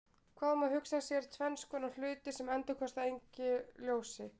Það má hugsa sér tvenns konar hluti sem endurkasta engu ljósi.